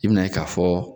I bɛn'a ye k'a fɔ